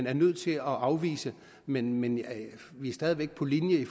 er nødt til at afvise men men vi er stadig væk på linje i